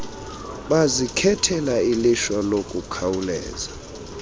bazikhethela ilishwa lokukhawuleza